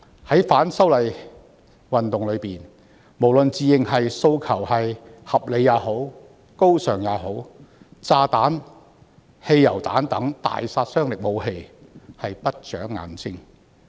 在反修例運動中，不管自認訴求合理或高尚，但炸彈、汽油彈等大殺傷力武器是不長眼睛的。